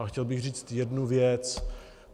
A chtěl bych říct jednu věc.